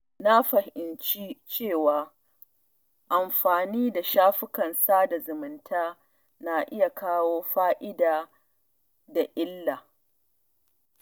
Na fahimci cewa amfani da shafukan sada zumunta na iya kawo fa’ida da kuma illa.